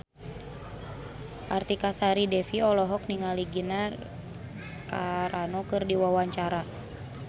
Artika Sari Devi olohok ningali Gina Carano keur diwawancara